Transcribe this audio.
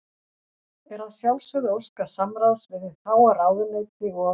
Er að sjálfsögðu óskað samráðs við hið háa ráðuneyti og